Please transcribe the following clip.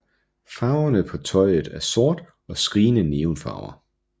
Farverne på tøjet er sort og skrigende neon farver